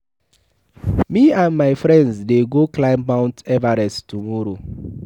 Me and my friends dey go climb mount Everest tomorrow.